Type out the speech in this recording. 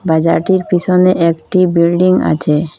বাজারটির পিছনে একটি বিল্ডিং আছে।